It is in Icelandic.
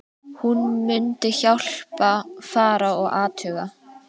Hún mundi hjálpa, fara og athuga